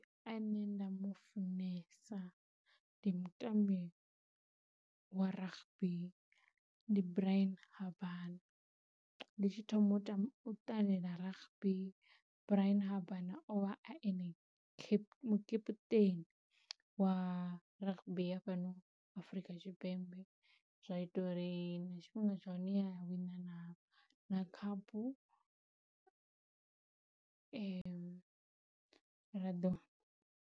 Ane nda mufunesa ndi mutambi wa rugby ndi Bryan Habana ndi tshi thoma u ta, u ṱalela rugby Bryan o vha a ene cap, mukeputeni wa rugby ya fhano Afrika Tshipembe. Zwa ita uri na tshifhinga tsha hone ya wina na na khaphu ra ḓo.